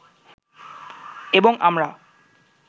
এবং আমরা